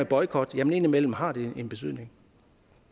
boykot jamen indimellem har det en betydning